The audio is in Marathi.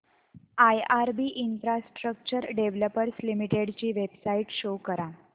आयआरबी इन्फ्रास्ट्रक्चर डेव्हलपर्स लिमिटेड ची वेबसाइट शो करा